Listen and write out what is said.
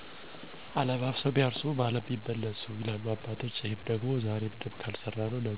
1. አለባብሰው ቢያርሱ በአረም ይመልሱ !! ማለትም ዛሬ ላይ በትከክል ያለሰራነው ስራ ነገ ለይ